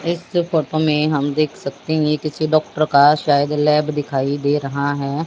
इस फोटो में हम देख सकते हैं कि किसी डॉक्टर का शायद लैब दिखाई दे रहा है।